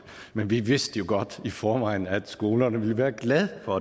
men vi vidste jo godt i forvejen at skolerne ville være glade for